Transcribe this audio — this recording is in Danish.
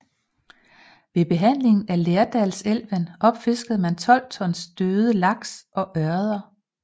Ved behandlingen af Lærdalselven opfiskede man 12 tons døde laks og ørreder